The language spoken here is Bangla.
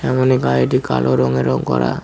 সামনে গাড়িটি কালো রংয়ে রং করা।